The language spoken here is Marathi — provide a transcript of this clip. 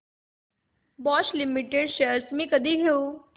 बॉश लिमिटेड शेअर्स मी कधी घेऊ